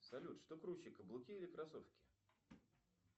салют что круче каблуки или кроссовки